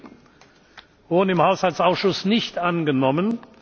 7 wurden im Haushaltsausschuss nicht angenommen.